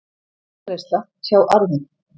Arðgreiðsla, sjá arður